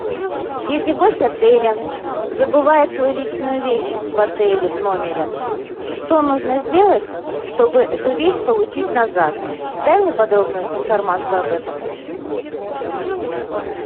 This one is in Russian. если гость отеля забывает свою личную вещь в отеле в номере что нужно сделать чтобы эту вещь получить назад дай мне подробную информацию об этом